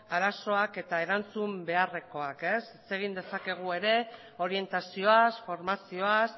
arazoak eta erantzun beharrekoak zer egin dezakegu ere orientazioaz formazioaz